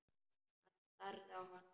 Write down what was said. Hann starði á hana.